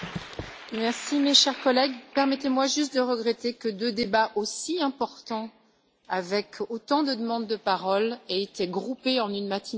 Chers collègues, permettez moi juste de regretter que deux débats aussi importants, avec autant de demandes de parole, aient été groupés en une matinée si courte.